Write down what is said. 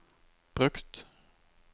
brukt